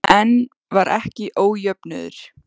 En var ekki ójöfnuður?